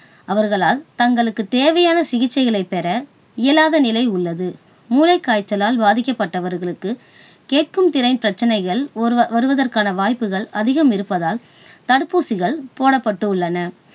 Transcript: அவர்களால் தங்களுக்கு தேவையான சிகிச்சைகளை பெற இயலாத நிலை உள்ளது. மூளைக் காய்ச்சலால் பாதிக்கப்பட்டவர்களுக்கு கேட்கும் திறன் பிரச்சனைகள் வருவதற்கான வாய்ப்புகள் அதிகம் இருப்பதால் தடுப்பூசிகள் போடப்பட்டுள்ளன